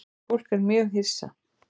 Fólk er mjög hissa